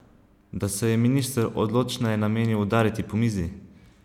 Da se je minister odločneje namenil udariti po mizi?